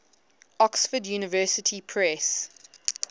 oxford university press